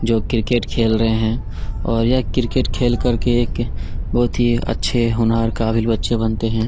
जो क्रिकेट खेल रहै हैं और ये क्रिकेट खेल करके एक बहुत ही अच्छे होनहार काबिल बच्चे बनते हैं।